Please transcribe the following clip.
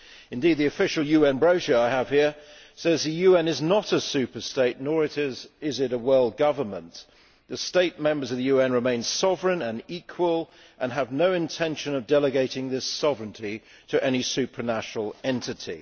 Indeed, the official UN brochure I have here says that the UN is not a super state, nor is it a world government. The states members of the UN remain sovereign and equal and have no intention of delegating this sovereignty to any supra national entity.